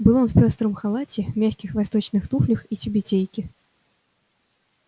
был он в пёстром халате мягких восточных туфлях и тюбетейке